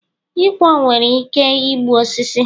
ịkwọ nwere ike igbu osisi